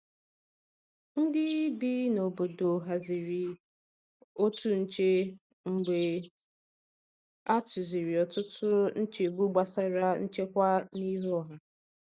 Ndị bi n’obodo haziri otu nche mgbe a tụziri ọtụtụ nchegbu gbasara nchekwa n’ihu ọha.